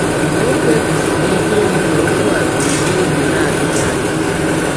Ma, ọ kpebisiri ike ịhụ na ọkwụ a biri n’ọge na - adịghị anya.